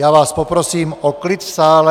Já vás poprosím o klid v sále.